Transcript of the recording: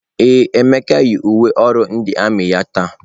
Ee, Emeka yi uwe ọrụ ndị armiị ya taa.